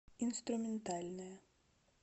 инструментальная